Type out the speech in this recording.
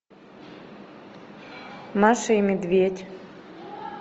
маша и медведь